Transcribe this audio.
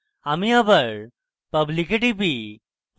আমি আবার public এ টিপি